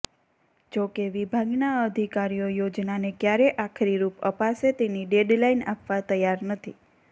જોકે વિભાગના અધિકારીઓ યોજનાને ક્યારે આખરી રૂપ અપાશે તેની ડેડલાઇન આપવા તૈયાર નથી